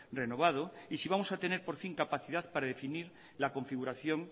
renovado y si vamos a tener por fin capacidad para definir la configuración